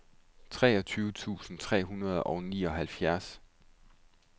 treogtyve tusind tre hundrede og nioghalvfjerds